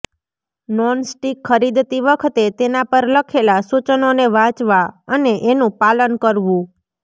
nonstick ખરીદતી વખતે તેના પર લખેલા સૂચનોને વાંચવા અને એનું પાલન કરવું